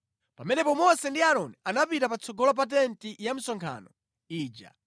Pamenepo Mose ndi Aaroni anapita patsogolo pa tenti ya msonkhano ija